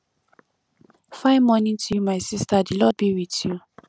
fine morning to you my sister the lord be with tyou